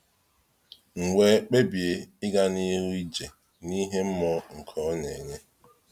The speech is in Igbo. M wee kpebie ịga n’ihu ije n’ìhè mmụọ nke Ọ na-enye.